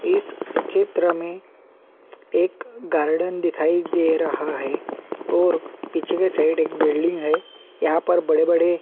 इस चित्र में एक गार्डन दिखाई दे रहा है और पीछे की साइड एक बिल्डिंग है यहां पर बड़े-बड़े --